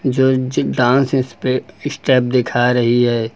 जो जो डांस स्पे स्टेप दिखा रही है।